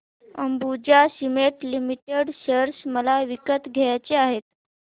Ambuja cement limited share मला विकत घ्यायचे आहेत